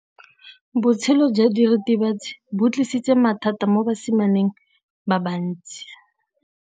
Botshelo jwa diritibatsi ke bo tlisitse mathata mo basimaneng ba bantsi.